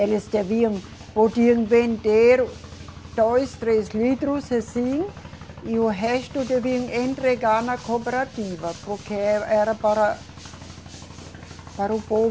Eles deviam, podiam vender dois, três litros assim e o resto deviam en, entregar na cooperativa porque eh, era para para o povo